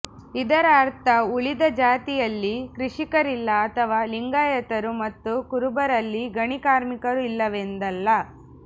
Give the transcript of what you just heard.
ಇದರ ಅರ್ಥ ಉಳಿದ ಜಾತಿಯಲ್ಲಿ ಕೃಷಿಕರಿಲ್ಲ ಅಥವಾ ಲಿಂಗಾಯತರು ಮತ್ತು ಕುರುಬರಲ್ಲಿ ಗಣಿ ಕಾರ್ಮಿಕರು ಇಲ್ಲವೆಂದಲ್ಲ